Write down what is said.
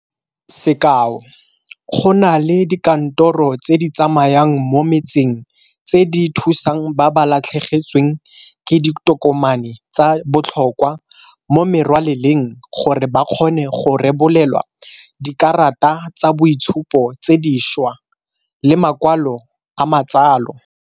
Sekao, go na le dikantoro tse di tsamayang mo motseng tse di thusang ba ba latlhegetsweng ke ditokomane tsa botlhokwa mo merwaleleng gore ba kgone go rebolelwa dikarata tsa boitshupo tse dišwa le makwalo a matsalo.